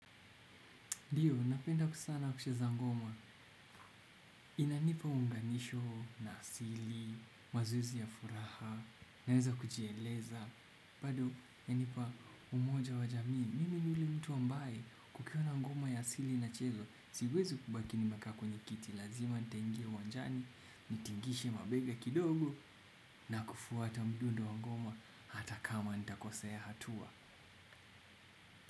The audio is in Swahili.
Ndio, napenda sana kucheza ngoma. Inanipa uunganisho na asili, mazoezi ya furaha, naweza kujieleza. Bado, hunipa umoja wa jamii. Mimili ni mtu ambaye kukiwa na ngoma ya asili na inachezwa. Siwezi kubaki nimekaa kwenye kiti. Lazima nitaingia uwanjani, nitingishe mabega kidogo, na kufuata mdundo wa ngoma hata kama nitakosea hatua.